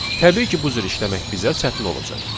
Təbii ki, bu cür işləmək bizə çətin olacaq.